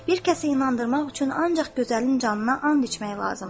Bir kəsi inandırmaq üçün ancaq gözəlin canına and içmək lazımdır.